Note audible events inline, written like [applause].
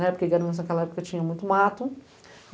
Na época ainda era [unintelligible] aquela época tinha muito mato.